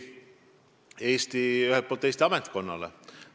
Eks ühelt poolt Eesti ametkonna omale.